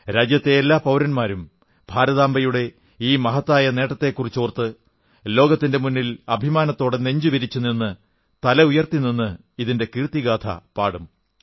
രാജ്യത്തെ എല്ലാ പൌരന്മാരും ഭാരതാംബയുടെ ഈ മഹത്തായ നേട്ടത്തെക്കുറിച്ചോർത്ത് ലോകത്തിന്റെ മുന്നിൽ അഭിമാനത്തോടെ നെഞ്ചുവിരിച്ചുനിന്ന് തല ഉയർത്തിനിന്ന് ഇതിന്റെ കീർത്തിഗാഥ പാടും